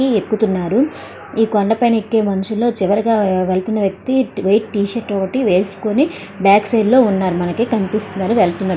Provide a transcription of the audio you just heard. పైకి ఎక్కుతున్నారు. ఈ కొండ పైన ఎక్కే మనుష్యులలో చివరగా వెళ్తున్న వ్యక్తి మనిషి వైట్ షర్ట్ ఒకటి వేసుకొని బ్యాక్ సైడ్ లో ఉన్నారు మనకి. కనిపిస్తున్నారు. వెళ్తున్నార్ --